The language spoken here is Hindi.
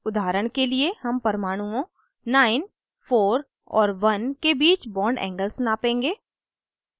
उदाहरण के लिए हम परमाणुओं 94 और 1 के बीच bond angle नापेंगे